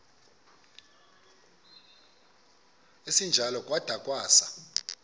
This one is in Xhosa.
esinjalo kwada kwasa